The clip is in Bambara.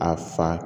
A fa